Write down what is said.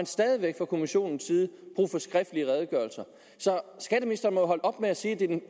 stadig væk fra kommissionens side brug for skriftlige redegørelser så skatteministeren må holde op med at sige at det er den